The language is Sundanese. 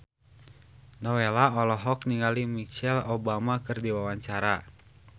Nowela olohok ningali Michelle Obama keur diwawancara